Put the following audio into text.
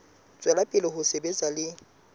tswela pele ho sebetsa le